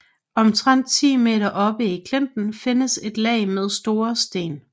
Omtrent 10 meter oppe i klinten findes et lag med store sten